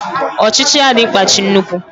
Ochichi ya di nkpachi nnukwu